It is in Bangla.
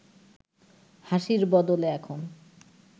হাসির বদলে এখন